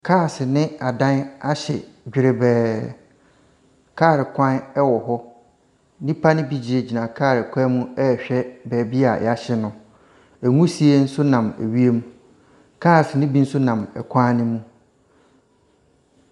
Cars ne adan ahye dwerebɛɛ. Kaalekwan wɔ hɔ. Nnipa no bi gyinagyina kaalekwan rehwɛ baabi a ahye no. Nwusie nso nam wiem. Cars no nso bi nam kwan no mu.